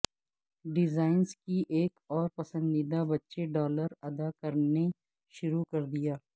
designers کی ایک اور پسندیدہ بچے ڈالر ادا کرنے شروع کر دیا